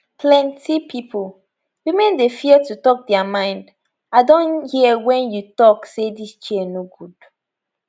plenti pipo women dey fear to tok dia mind i don hear wen you tok say dis chair no good